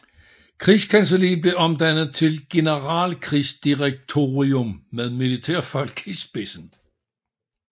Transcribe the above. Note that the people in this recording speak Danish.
Krigskancelliet blev omdannet til et generalkrigsdirektorium med militærfolk i spidsen